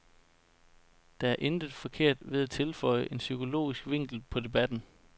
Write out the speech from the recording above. Der er intet forkert ved at tilføje en psykologisk vinkel på debatten.